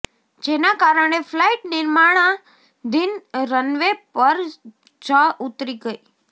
જેના કારણે ફ્લાઈટ નિર્માણાધિન રન વે પર જ ઉતરી ગઈ